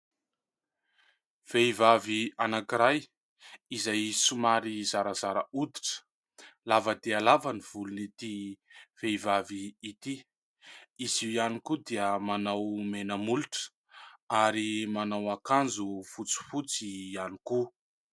Vehivavy anankiray izay somary zarazara hoditra. Lava dia lava ny volon' ity vehivavy ity. Izy io ihany koa dia manao mena molotra ary manao akanjo fotsifotsy ihany koa.